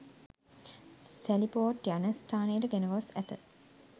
සැලි port යන ස්ථානයට ගෙනගොස් ඇත